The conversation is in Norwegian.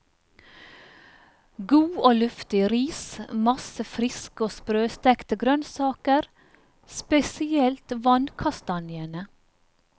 God og luftig ris, masse friske og sprøstekte grønnsaker, spesielt vannkastanjene.